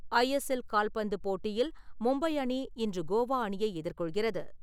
ISL கால்பந்து போட்டியில் மும்பை அணி, இன்று கோவா அணியை எதிர்கொள்கிறது.